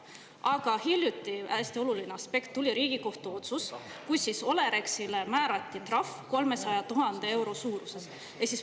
Aga hiljuti – hästi oluline aspekt – tuli Riigikohtu otsus, millega Olerexile määrati trahv 300 000 euro suuruses.